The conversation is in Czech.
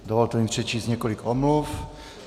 Dovolte mi přečíst několik omluv.